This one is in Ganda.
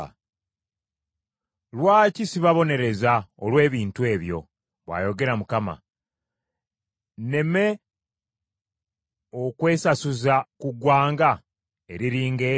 Lwaki sibabonereza olw’ebintu ebyo?” bw’ayogera Mukama . “Nneme okwesasuza ku ggwanga eriri nga eryo?